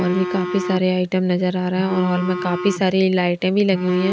और भी काफी सारे आइटम नजर आ रहा है और हॉल में काफी सारी लाइटे भी लगी हुई है।